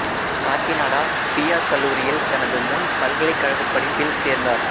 Kakinada P R கல்லூரியில் தனது முன் பல்கலைக்கழகப் படிப்பில் சேர்ந்தார்